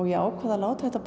ég ákvað að láta þetta